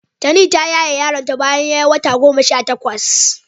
Tani ta yaye yaronta bayan ya yi wata goma sha takwas.